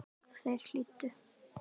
Þeir hlýddu.